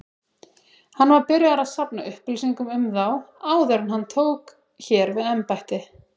Hann var byrjaður að safna upplýsingum um þá, áður en hann tók hér við embætti.